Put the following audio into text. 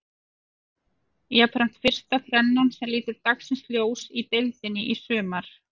Jafnframt fyrsta þrennan sem lítur dagsins ljós í deildinni í sumar.